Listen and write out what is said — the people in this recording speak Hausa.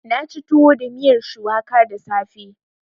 Na ci tuwo da miyar shuwaka da safe.